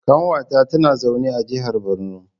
Kanwata tana zaune a jihar Borno.